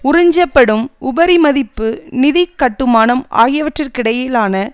உறிஞ்சப்படும் உபரிமதிப்பு நிதி கட்டுமானம் ஆகியவற்றுக்கிடையிலான